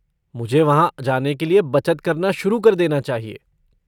मुझे वहाँ जाने के लिये बचत करना शुरू कर देना चाहिए।